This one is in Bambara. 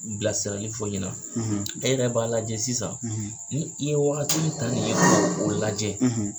Bilasira fɔ ɲɛna e yɛrɛ b'a lajɛ sisan ni i ye wagati min ta nin ye k'o lajɛ.